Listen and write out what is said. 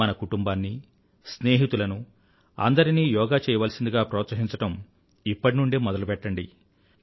మన కుటుంబాన్నీ స్నేహితులనూ అందరినీ యోగా చెయ్యవలసిందిగా ప్రోత్సహించడం ఇప్పటి నుండే మొదలుపెట్టండి